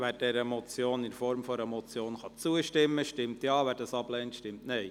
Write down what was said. Wer dieser Motion in Form einer Motion zustimmen kann, stimmt Ja, wer dies ablehnt, stimmt Nein.